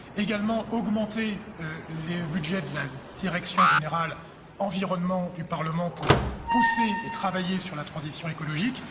Également augmenter le budget de la direction générale environnement du Parlement pour pousser et travailler sur la transition écologique.